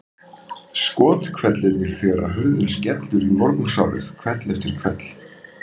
Skothvellirnir þegar hurðin skellur í morgunsárið hvell eftir hvell.